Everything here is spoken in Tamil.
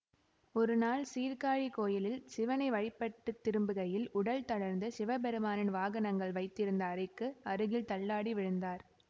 ஒரு நாள் சீர்காழி கோயிலில் சிவனை வழிபட்டுத் திரும்புகையில் உடல் தளர்ந்து சிவபெருமானின் வாகனங்கள் வைத்திருந்த அறைக்கு அருகில் தள்ளாடி விழுந்தார்